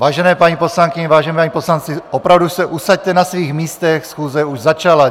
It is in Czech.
Vážené paní poslankyně, vážení páni poslanci, opravdu se usaďte na svých místech, schůze už začala.